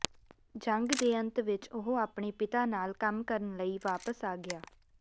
ਜੰਗ ਦੇ ਅੰਤ ਵਿਚ ਉਹ ਆਪਣੇ ਪਿਤਾ ਨਾਲ ਕੰਮ ਕਰਨ ਲਈ ਵਾਪਸ ਆ ਗਿਆ